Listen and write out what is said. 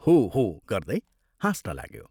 हो! हो! गर्दै हाँस्न लाग्यो।